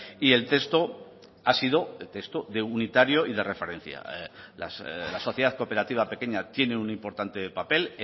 y el texto ha sido el texto unitario y de referencia la sociedad cooperativa pequeña tiene un importante papel